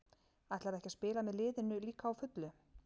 Ætlarðu ekki að spila með liðinu líka á fullu?